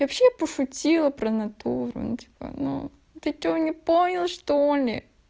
и вообще я пошутила про натуру ну типа ну ты что не понял что-ли